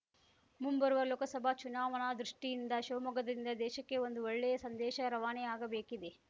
ಮುಂಬರುವ ಲೋಕಸಭಾ ಚುನಾವಣಾ ದೃಷ್ಟಿಯಿಂದ ಶಿವಮೊಗ್ಗದಿಂದ ದೇಶಕ್ಕೆ ಒಂದು ಒಳ್ಳೆಯ ಸಂದೇಶ ರವಾನೆ ಆಗಬೇಕಿದೆ